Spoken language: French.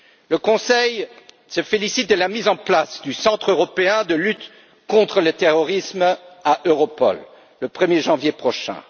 Le Conseil se félicite de la mise en place du centre européen de lutte contre le terrorisme au sein d'Europol, le 1er janvier prochain.